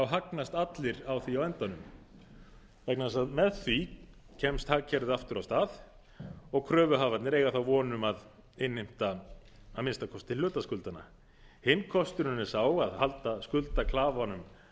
hagnast allir á því á endanum vegna þess að með því kemst hagkerfið aftur af stað og kröfuhafarnir eiga þá von um að innheimta að minnsta kosti hluta skuldanna hinn kosturinn er sá að halda skuldaklafanum